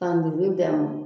Ka muruni d'a ma